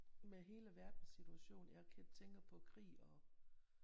Med hele verdenssituationen jeg tænker på krig og